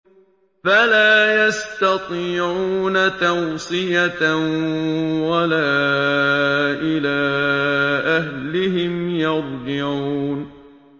فَلَا يَسْتَطِيعُونَ تَوْصِيَةً وَلَا إِلَىٰ أَهْلِهِمْ يَرْجِعُونَ